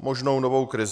možnou novou krizi.